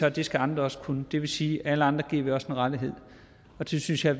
at det skal andre også kunne det vil sige at alle andre en rettighed og det synes jeg